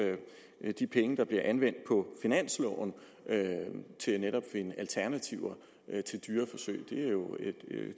de penge der bliver anvendt på finansloven til netop at finde alternativer til dyreforsøg